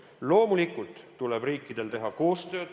Loomulikult tuleb riikidel teha koostööd.